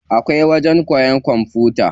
Akwai wajen koyan kwamfuta.